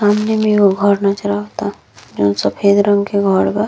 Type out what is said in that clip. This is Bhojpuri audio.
सामने में एगो घर नज़र आवता। जोन सफेद रंग के घर बा।